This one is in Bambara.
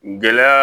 Gɛlɛya